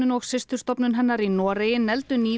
og systurstofnun hennar í Noregi negldu nýverið